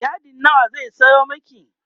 yadi nawa zaa Sayo maki?